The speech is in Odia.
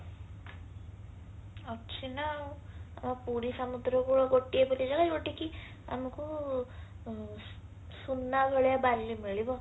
ଅଛି ନାଉ ଆମ ପୁରୀ ସମୁଦ୍ରକୂଳ ଗୋଟିଏ ବୋଲି ଜାଗା ଯୋଉଠିକି ଆମକଉ ସୁନା ଭଳିଆ ବାଲି ମିଳିବ